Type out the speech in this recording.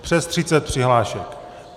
Přes třicet přihlášek.